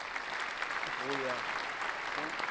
go ya go e nngwe